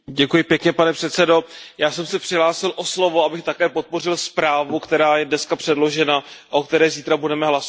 Pane předsedající, já jsem se přihlásil o slovo, abych také podpořil zprávu, která je dneska předložena a o které zítra budeme hlasovat.